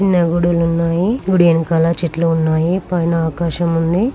ఉన్నాయి గుడి యనకల చెట్లు ఉన్నాయి పైన ఆకాశం ఉంది